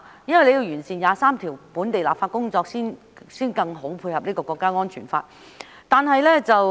因為要完成第二十三條本地立法工作，才能更好地配合《香港國安法》。